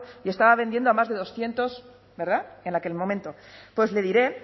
y estaba vendiendo a más de doscientos verdad en aquel momento pues le diré